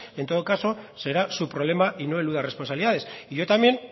en todo caso será su problema y no eluda responsabilidades yo también